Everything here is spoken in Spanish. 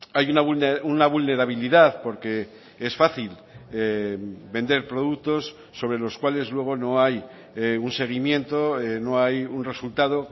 hay una vulnerabilidad porque es fácil vender productos sobre los cuales luego no hay un seguimiento no hay un resultado